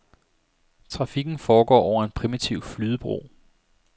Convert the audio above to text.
Trafikken foregår over en primitiv flydebro.